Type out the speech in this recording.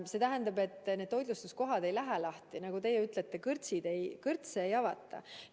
See tähendab, et toitlustuskohad ei lähe päris lahti, nagu teie ütlete, kõrtse ei avata.